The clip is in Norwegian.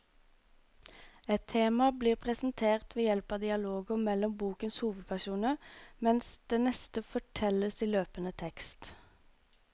Ett tema blir presentert ved hjelp av dialoger mellom bokens hovedpersoner, mens det neste fortelles i løpende tekst.